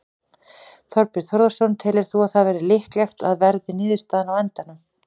Þorbjörn Þórðarson: Telur þú að það verði líklegt að verði niðurstaðan á endanum?